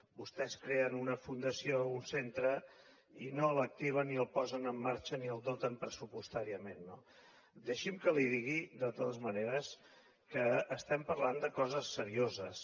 vostès creen una fundació un centre i no l’activen ni el posen en marxa ni el doten pressupostàriament no deixi’m que li digui de totes maneres que parlem de coses serioses